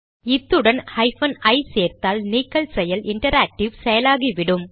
இதனுடன் ஹைபன் ஐ சேர்த்தால் நீக்கல் செயல் இன்டராக்டிவ் செயலாகிவிடும்